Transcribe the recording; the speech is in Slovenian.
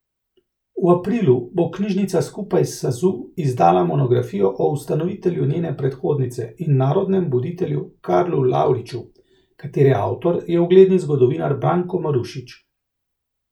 V aprilu bo knjižnica skupaj s Sazu izdala monografijo o ustanovitelju njene predhodnice in narodnem buditelju Karlu Lavriču, katere avtor je ugledni zgodovinar Branko Marušič.